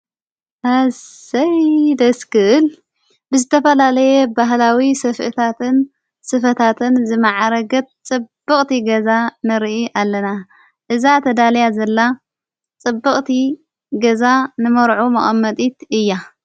ኣሰይ ደስ ክብል ብዝተፋላለየ ባህላዊ ስፍሕታትን ስፍታትን ዝመዓረገት ጽብቕቲ ገዛ ንርኢ ኣለና እዛ ተዳለያ ዘላ ጽብቕቲ ገዛ ንመርዑ መቐመጢት እያ፡፡